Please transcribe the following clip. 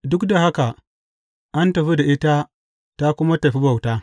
Duk da haka an tafi da ita ta kuma tafi bauta.